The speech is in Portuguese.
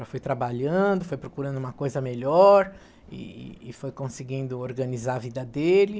Já foi trabalhando, foi procurando uma coisa melhor e e e foi conseguindo organizar a vida dele.